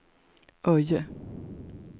Öje